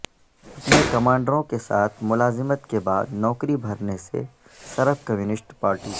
اپنے کمانڈروں کے ساتھ ملازمت کے بعد نوکری بھرنے سے سرب کمیونسٹ پارٹی